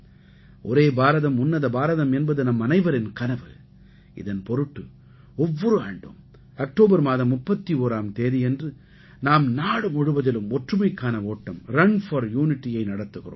ஒரே பாரதம் உன்னத பாரதம் என்பது நம்மனைவரின் கனவு இதன் பொருட்டு ஒவ்வொரு ஆண்டும் அக்டோபர் மாதம் 31ஆம் தேதியன்று நாம் நாடு முழுவதிலும் ஒற்றுமைக்கான ஓட்டம் ரன் போர் Unityயை நடத்துகிறோம்